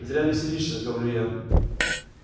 зря веселишься говорю я